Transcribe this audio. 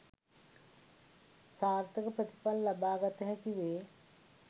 සාර්ථක ප්‍රතිඵල ලබාගත හැකි වේ